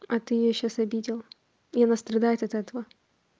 а ты её сейчас обидел и она страдает от этого